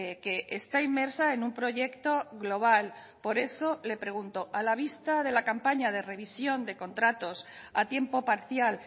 que está inmersa en un proyecto global por eso le pregunto a la vista de la campaña de revisión de contratos a tiempo parcial